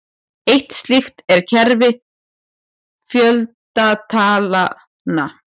Eitt slíkt er kerfi fjöldatalnanna.